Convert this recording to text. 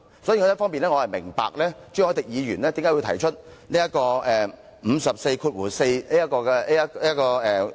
所以，我明白朱凱廸議員為何會提出根據《議事規則》第544條動議的議案。